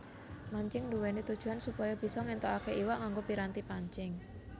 Mancing nduwèni tujuwan supaya bisa ngéntukaké iwak nganggo piranti pancing